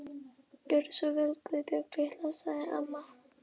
Gjörðu svo vel Guðbjörg litla, sagði amma.